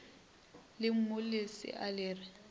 re mmu lesea le re